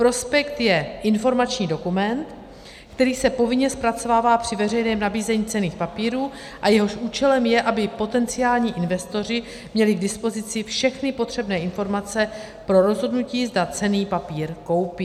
Prospekt je informační dokument, který se povinně zpracovává při veřejném nabízení ceny papírů a jehož účelem je, aby potenciální investoři měli k dispozici všechny potřebné informace pro rozhodnutí, zda cenný papír koupí.